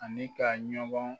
Ani k'a ɲɔgɔn